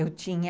Eu tinha...